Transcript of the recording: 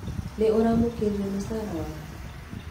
Nĩ ũramũkĩrire mũcara waku